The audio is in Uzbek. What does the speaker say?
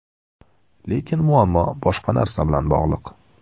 Lekin muammo boshqa narsa bilan bog‘liq.